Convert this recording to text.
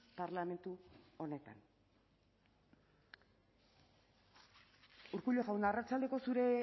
parlamentu honetan urkullu jauna arratsaldeko zure